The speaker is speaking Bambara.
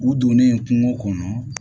U donnen kungo kɔnɔ